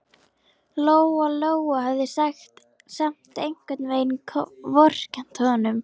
Lóa-Lóa hafði samt einhvern veginn vorkennt honum.